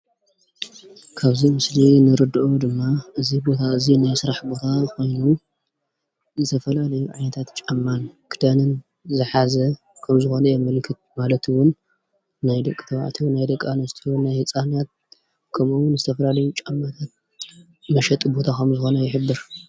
ካብዚ ምስሊ ንርድኦ ድማ እዚ ቦታ እዚ ናይ ስራሕ ቦታ ኮይኑ ዝየፈላለዩ ዓይነታት ጫማን፣ ክዳንን ዝሓዘ ከምዝኮነ የመልክት ማለት እዉን ናይ ደቂ ተባዕትዮን፣ ናይ ደቂ ኣንስትዮን፣ ናይ ህፃናት ከምኡ እውን ዝተፈላለዩ ጫማታት መሸጢ ቦታ ከምዝኾነ ይሕብር ።